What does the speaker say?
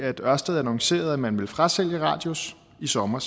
ørsted annoncerede at man ville frasælge radius i sommer